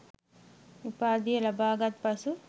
උපාධිය ලබා ගත් පසු